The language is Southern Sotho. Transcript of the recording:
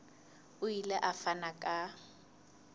o ile a fana ka